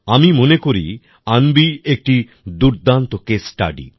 আমি মনে করি অন্বি একটি দুর্দান্ত কেস স্টাডি